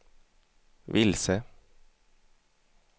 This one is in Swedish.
vilse